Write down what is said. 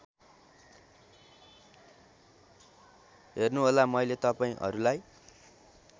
हेर्नुहोला मैले तपाईँहरूलाई